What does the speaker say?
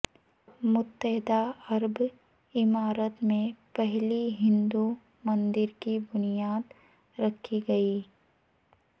متحدہ عرب امارات میں پہلے ہندو مندر کی بنیاد رکھی گئی